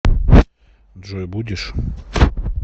джой будешь